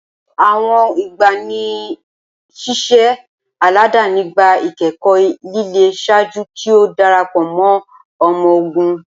Awọn igbanisiṣẹ aladani gba ikẹkọ lile ṣaaju ki o darapọ mọ ọmọ-ogun.